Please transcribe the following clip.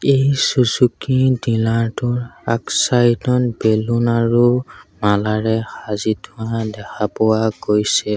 এই Suzuki dealer টোৰ আগ চাইড বেলুন আৰু মালাৰে সাজি থোৱা দেখা পোৱা গৈছে।